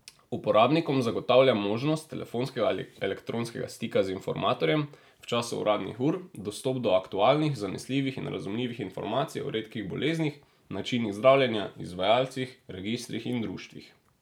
Uporabnikom zagotavlja možnost telefonskega ali elektronskega stika z informatorjem v času uradnih ur, dostop do aktualnih, zanesljivih in razumljivih informacij o redkih boleznih, načinih zdravljenja, izvajalcih, registrih in društvih.